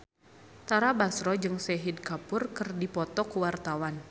Tara Basro jeung Shahid Kapoor keur dipoto ku wartawan